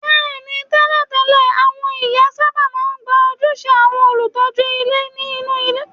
Bẹ́ẹ̀ ni, tẹ́lẹ̀tẹ́lẹ̀, àwọn ìyá sábà máa ń gba ojúṣe àwọn olùtọ́jú ilé nínú ìdílé